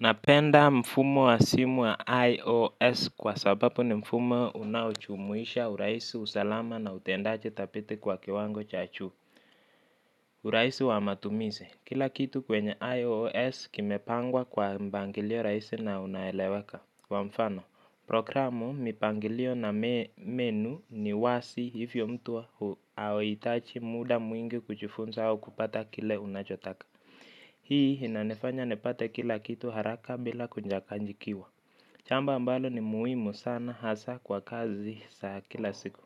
Napenda mfumo wa simu wa IOS kwa sababu ni mfumo unaochumuisha uraisi usalama na utendaji thabiti kwa kiwango cha chu. Uraisi wa matumizi, kila kitu kwenye IOS kimepangwa kwa mbangilio raisi na unaeleweka. Kwa mfano, programu mpangilio na menu ni wasi hivyo mtu hauhitachi muda mwingi kuchifunza au kupata kile unachotaka. Hii hinanifanya nipate kila kitu haraka bila kunjakanjikiwa. Jambo ambalo ni muhimu sana hasaa kwa kazi za kila siku.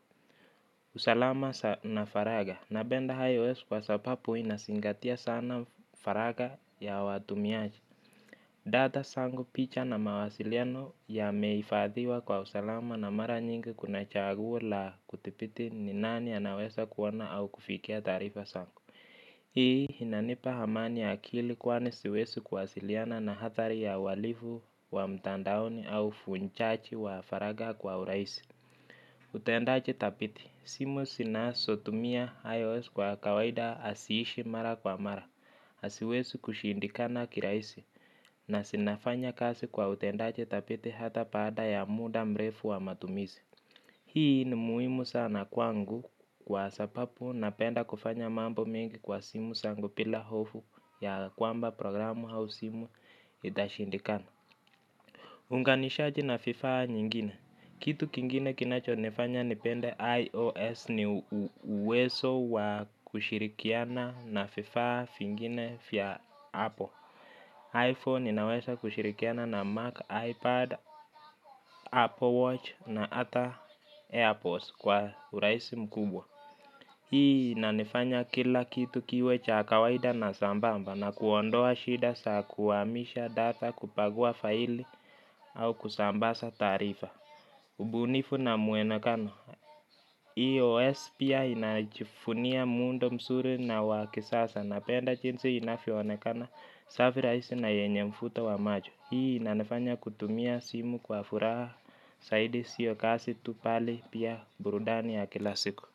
Usalama na faraga. Nabenda ios kwa sapapu hinasingatia sana faraga ya watumiaji. Data sangu picha na mawasiliano yameifadhiwa kwa usalama na mara nyingi kuna chaguo la kuthipiti ni nani anawesa kuona au kufikia taarifa sako. Hii hinanipa hamani ya akili kwani siwesi kuwasiliana na hatari ya uwalivu wa mtandaoni au ufunchachi wa faraga kwa uraisi. Utendaje thapiti, simu sina sotumia IOS kwa kawaida asiishi mara kwa mara. Asiwesi kushindikana kiraisi. Na sinafanya kasi kwa utendaje thapiti hata paada ya muda mrefu wa matumizi. Hii ni muimu sana kwangu kwa sapapu napenda kufanya mambo mengi kwa simu sangu pila hofu ya kwamba programu hausimu itashindikana. Unganishaji na fifa nyingine. Kitu kingine kinacho nifanya nipende iOS ni uweso wa kushirikiana na fifa fingine fya Apple. iPhone inawesa kushirikiana na Mac, iPad, Apple Watch na ata Airpods kwa uraisi mkubwa. Hii inanifanya kila kitu kiwe cha kawaida na sambamba na kuondoa shida sa kuamisha data kupagua faili au kusambasa taarifa. Ubunifu na muenekano. Hii OS pia inajifunia mundo msuri na wakisasa na penda jinsi inafiwonekana safiraisi na yenye mfuto wa majo. Hii inanifanya kutumia simu kwa furaha. Saidi siyo kasi tu pale pia burudani ya kila siku.